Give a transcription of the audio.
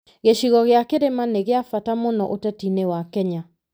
Gĩcigo gĩa kĩrĩma nĩ kĩa bata mũno ũteti-inĩ wa Kenya.